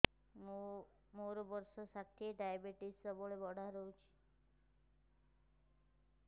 ମୋର ବର୍ଷ ଷାଠିଏ ଡାଏବେଟିସ ସବୁବେଳ ବଢ଼ା ରହୁଛି